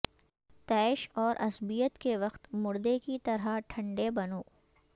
طیش اور عصبیت کے وقت مردے کی طرح ٹھنڈے بنو